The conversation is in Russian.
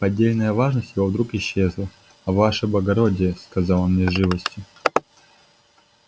поддельная важность его вдруг исчезла а ваше благородие сказал он мне с живостью